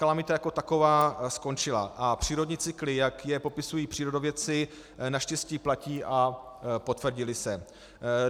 Kalamita jako taková skončila a přírodní cykly, jak je popisují přírodopisci, naštěstí platí a potvrdily se.